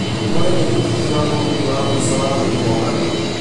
ũgũre rĩngĩ tigiti wa mũgithi wa mũico wa gũthiĩ mombatha